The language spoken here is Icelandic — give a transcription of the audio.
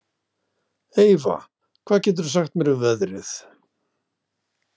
Eyva, hvað geturðu sagt mér um veðrið?